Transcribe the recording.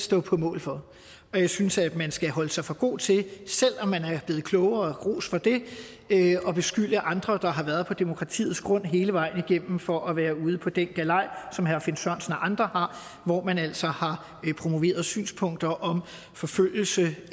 stå på mål for og jeg synes man skal holde sig for god til selv om man er blevet klogere og ros for det at beskylde andre der har været på demokratiets grund hele vejen igennem for at være ude på den galaj som herre finn sørensen og andre har hvor man altså har promoveret synspunkter om forfølgelse